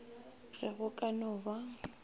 ge go ka no ba